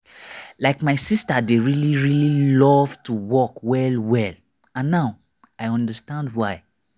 like my sister dey really really love to walk well well and now i understand why.